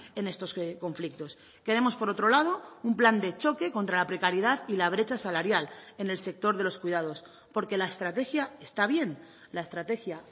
en estos conflictos queremos por otro lado un plan de choque contra la precariedad y la brecha salarial en el sector de los cuidados porque la estrategia está bien la estrategia